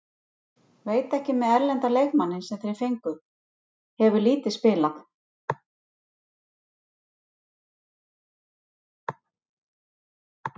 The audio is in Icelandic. Veit ekki með erlenda leikmanninn sem þeir fengu, hefur lítið spilað.